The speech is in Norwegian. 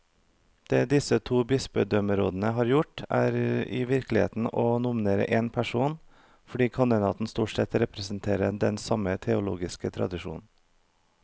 Det disse to bispedømmerådene har gjort, er i virkeligheten å nominere én person, fordi kandidatene stort sett representerer den samme teologiske tradisjon.